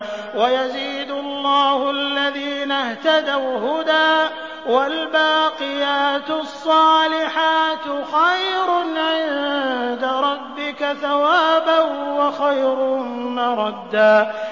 وَيَزِيدُ اللَّهُ الَّذِينَ اهْتَدَوْا هُدًى ۗ وَالْبَاقِيَاتُ الصَّالِحَاتُ خَيْرٌ عِندَ رَبِّكَ ثَوَابًا وَخَيْرٌ مَّرَدًّا